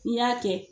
N'i y'a kɛ